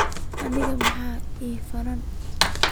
Aniga maxaan axay fanan.